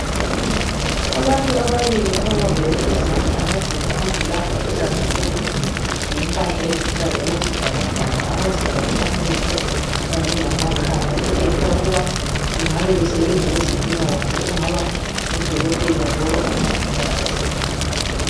Abantu ababili ababambe izandla abagqoke amaglovisi aluhlaza tshoko lombala oluhlaza okwesibhakabhaka bazivale amehlo kanye lamakhanda okutshengisa ukuthi bengabe besebenza kwezempilakahle okungaba ngodokotela labomongikazi